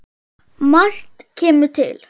Margt kemur til.